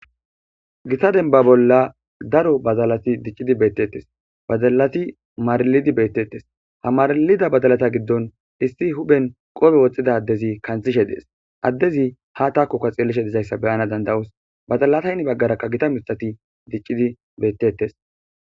Gita denba bolla daro bazalati diccidi beettettes bazalati maralidi beettettes hamarlida badalata giddon issi huphen qope woxxida addezi kanthishe dees addezi ha taakokka xeellishe dizayssa beyana dandawos badalataynn baggarakka gita mitati diccidi beettettes.